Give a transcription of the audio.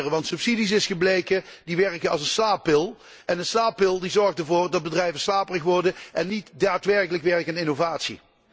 Want subsidies, zo is gebleken, werken als een slaappil en een slaappil zorgt ervoor dat bedrijven slaperig worden en niet daadwerkelijk werken aan innovatie.